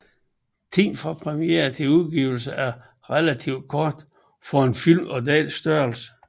Tiden fra premieren til udgivelsen var relativt kort for en film af denne størrelse